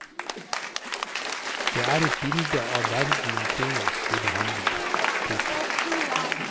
Det er et bilde av verden omkring oss vi behandler. punktum